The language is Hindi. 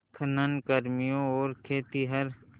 खनन कर्मियों और खेतिहर